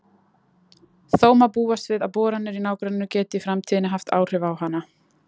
Þó má búast við að boranir í nágrenninu geti í framtíðinni haft áhrif á hana.